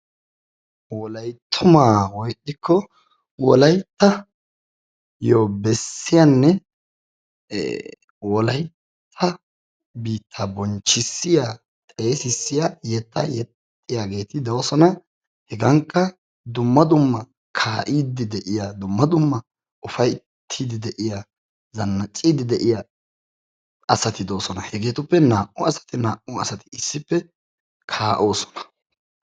Wolayttuma woy ixxikko wolayttayyo beessiyanne wolaytta biittaa bonchchissiya xeessisiyaa yetta yexxiyaageeti doosona. Hegankka dumma dumma kaa'idi de'iya dumma dumma upayttidi de'iyaa zannaccidi de'iyaa asatti doosona. Hegetuppe naa"u asati naa"u asati issippe kaa'oosona.